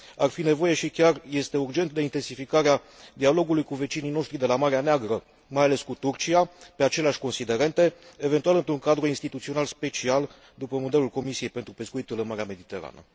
Ar fi nevoie și chiar este urgentă intensificarea dialogului cu vecinii noștri de la Marea Neagră mai ales cu Turcia pe aceleași considerente, eventual într un cadru instituțional special, după modelul Comisiei pentru pescuitul în Marea Mediterană.